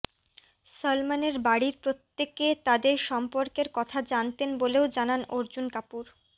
সলমনের বাড়ির প্রত্য়েকে তাঁদের সম্পর্কের কথা জানতেন বলেও জানান অর্জুন কাপুর